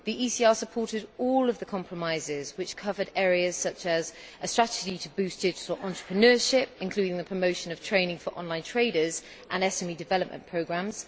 The ECR supported all of the compromises, which covered areas such as a strategy to boost digital entrepreneurship, including the promotion of training for online traders and SME development programmes